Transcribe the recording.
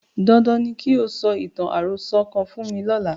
Dandan ni kí o sọ ìtàn àròsọ kan fún mi lọ́la.